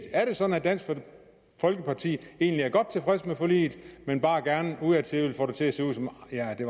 sådan at dansk folkeparti egentlig er godt tilfreds med forliget men bare gerne udadtil vil få det til at se ud som